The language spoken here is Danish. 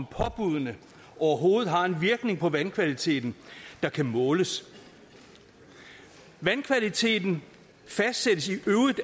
påbuddene overhovedet har en virkning på vandkvaliteten der kan måles vandkvaliteten fastsættes i øvrigt